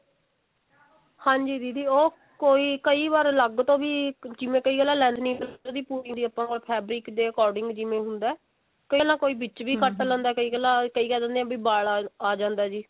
ਹਾਂਜੀ ਦੀਦੀ ਉਹ ਕਈ ਵਾਰ ਅਲੱਗ ਤੋਂ ਵੀ ਜਿਵੇਂ ਕਈ ਜਣਾ lining suit ਦੀ fabric ਦੇ according ਜਿਵੇਂ ਹੁੰਦਾ ਕਈ ਜਣਾ ਕੋਈ ਵਿੱਚ ਵੀ ਘੱਟ ਲੇੰਦਾ ਕਈ ਕਹਿ ਦਿੰਦੇ ਨੇ ਵੀ ਬਲ ਆ ਜਾਂਦਾ ਜੀ